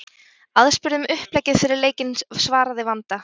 Aðspurð um uppleggið fyrir leikinn svaraði Vanda: